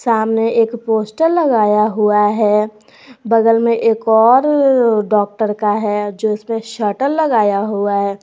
सामने एक पोस्टर लगाया हुआ है बगल में एक और डॉक्टर का है जिसमें शटर लगाया हुआ है।